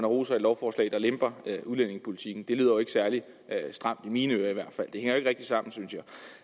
roser et lovforslag der lemper udlændingepolitikken det lyder ikke særlig stramt i mine ører i hvert fald det ikke rigtig sammen synes jeg